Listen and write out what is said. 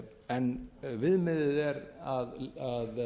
en viðmiðið er að